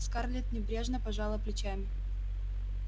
скарлетт небрежно пожала плечами